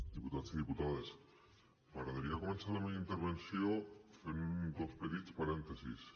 diputats i diputades m’agradaria començar la meva intervenció fent dos petits parèntesis